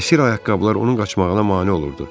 Həsir ayaqqabıları onun qaçmağına mane olurdu.